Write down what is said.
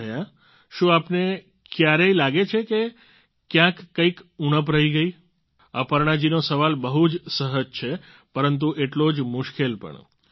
એમ રહ્યા શું આપને ક્યારેય લાગે છે કે ક્યાંક કંઈક ઉણપ રહી ગઈ અપર્ણા જીનો સવાલ બહુ જ સહજ છે પરંતુ એટલો જ મુશ્કેલ પણ